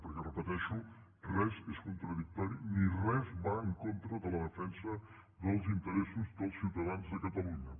perquè ho repeteixo res és contradictori ni res va en contra de la defensa dels interessos dels ciutadans de catalunya